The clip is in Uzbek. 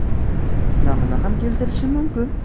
Namuna ham keltirishim mumkin.